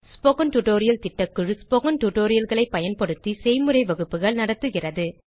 spoken tutorial திட்டக்குழு spoken tutorial களை பயன்படுத்தி செய்முறை வகுப்புகள் நடத்துகிறது